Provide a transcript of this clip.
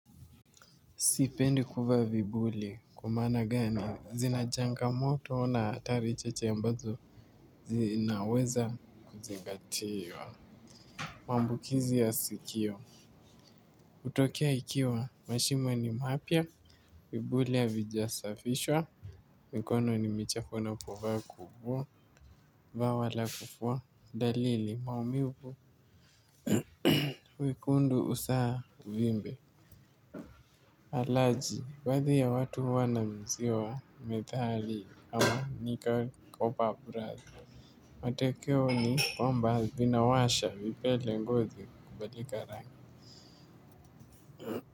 Sipendi kuvaa vipuli, kwa maana gani, zina changamoto, na hatari chache ambazo, zinaweza kuzingatiwa. Mambukizi ya sikio. Hutokea ikiwa, mashimo ni mapya, vipuli havijasafishwa. Mikono ni michafu na kuvaa kubwa, vawa la kufua, dalili maumivu, wekundu usaha uvimbe. Alaji, baadhi ya watu huwa wanauziwa methali ama nika kopa brazi. Matokeo ni kwamba vinawasha vipele ngozi kubadilika rangi.